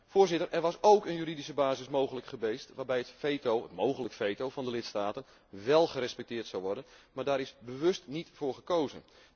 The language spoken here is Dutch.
Voorzitter, er was ook een juridische basis mogelijk geweest waarbij het veto, een mogelijk veto van de lidstaten, wél gerespecteerd zou worden maar daar is bewust niet voor gekozen.